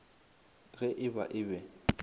ge e ba e be